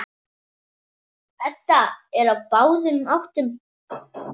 Edda er á báðum áttum.